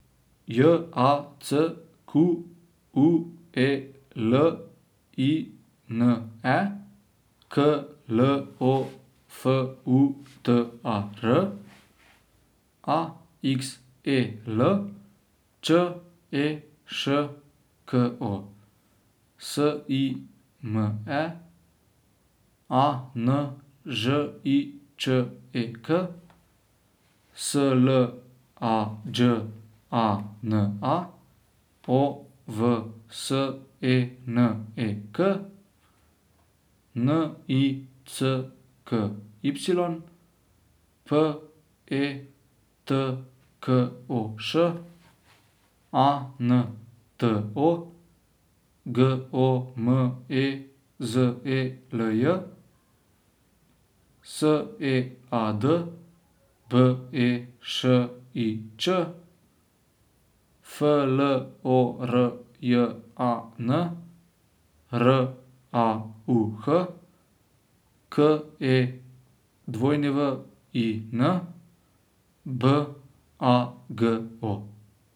J A C Q U E L I N E, K L O F U T A R; A X E L, Č E Š K O; S I M E, A N Ž I Č E K; S L A Đ A N A, O V S E N E K; N I C K Y, P E T K O Š; A N T O, G O M E Z E L J; S E A D, B E Š I Ć; F L O R J A N, R A U H; K E W I N, B A G O.